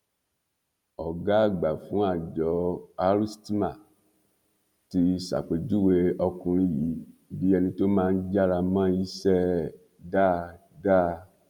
ọgá àgbà fún àjọ rstma ti ṣàpèjúwe ọkùnrin yìí bíi ẹni tó máa ń jára mọ iṣẹ ẹ dáadáa